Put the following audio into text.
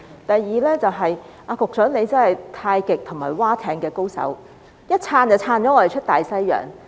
第二，局長真的是太極和划艇的高手，一撐已把我們撐出大西洋。